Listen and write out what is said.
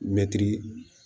Mɛtiri